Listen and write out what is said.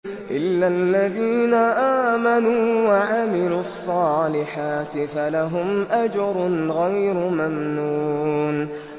إِلَّا الَّذِينَ آمَنُوا وَعَمِلُوا الصَّالِحَاتِ فَلَهُمْ أَجْرٌ غَيْرُ مَمْنُونٍ